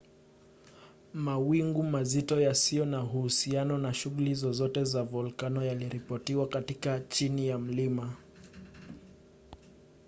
mawingu mazito yasiyo na uhusiano na shughuli zozote za volkano yaliripotiwa katika chini ya mlima